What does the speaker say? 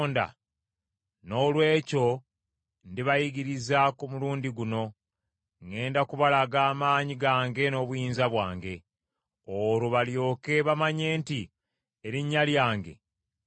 “Noolwekyo ndibayigiriza, ku mulundi guno; ŋŋenda kubalaga amaanyi gange n’obuyinza bwange. Olwo balyoke bamanye nti erinnya lyange nze Mukama .”